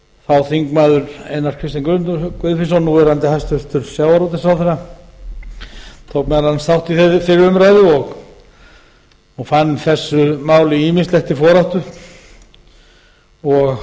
háttvirtur þingmaður einar kristinn guðfinnsson tók meðal annars þátt í þeirri umræðu og fann þessu máli ýmislegt til foráttu og